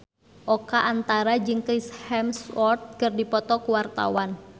Oka Antara jeung Chris Hemsworth keur dipoto ku wartawan